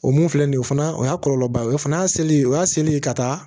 O mun filɛ nin ye o fana o y'a kɔlɔlɔba ye o fana y'a seli ye o y'a seli ye ka taa